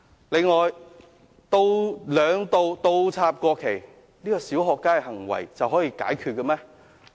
此外，兩度倒插國旗，說這是"小學雞"行為就可以解決了嗎？